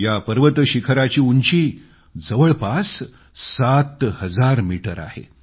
या पर्वतशिखराची उंची जवळपास सात हजार मीटर आहे